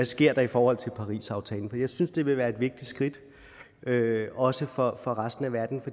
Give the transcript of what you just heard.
sker i forhold til parisaftalen jeg synes det ville være et vigtigt skridt også for resten af verden